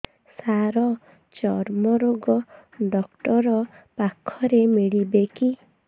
ସାର ଚର୍ମରୋଗ ଡକ୍ଟର ପାଖରେ ମିଳିବେ କି